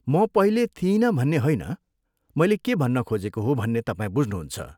म पहिले थिइनँ भन्ने होइन, मैले के भन्न खोजेको हो भन्ने तपाईँ बुझ्नुहुन्छ।